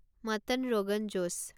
mutton rogan josh